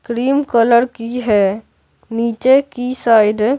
cream colour की है नीचे की साइड --